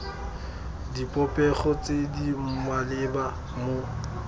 dipopego tse di maleba mo